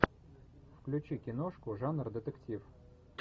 включи киношку жанр детектив